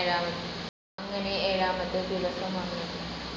അങ്ങനെ ഏഴാമത്തെ ദിവസം വന്നു.